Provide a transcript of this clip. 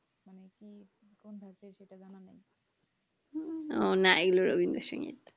উ নাইলো রবীন্দ্র সঙ্গীত